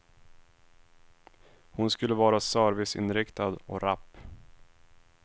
Hon skulle vara serviceinriktad och rapp.